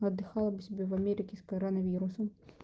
отдыхала бы себе в америке с коронавирусом